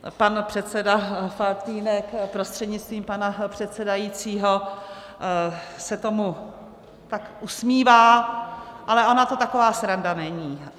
Pan předseda Faltýnek prostřednictvím pana předsedajícího se tomu tak usmívá, ale ona to taková sranda není.